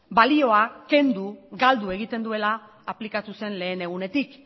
balio kendu galdu egiten duela aplikatu zen lehen egunetik